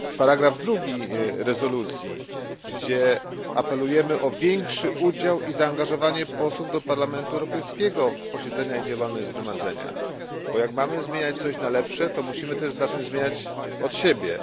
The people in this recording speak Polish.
2 rezolucji, gdzie apelujemy o większy udział i zaangażowanie posłów do Parlamentu Europejskiego w posiedzenia i działalność Zgromadzenia, bo skoro mamy zmieniać coś na lepsze, musimy zacząć zmieniać od siebie.